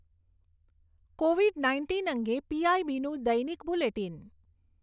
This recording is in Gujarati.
કોવિડ નાઇન્ટીન અંગે પીઆઈબીનું દૈનિક બુલેટિન